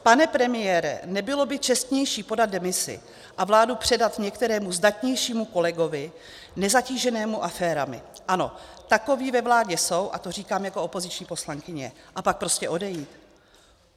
Pane premiére, nebylo by čestnější podat demisi a vládu předat některému zdatnějšímu kolegovi nezatíženému aférami - ano, takoví ve vládě jsou, a to říkám jako opoziční poslankyně - a pak prostě odejít?